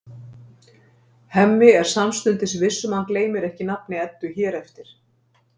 Hemmi er samstundis viss um að hann gleymir ekki nafni Eddu hér eftir.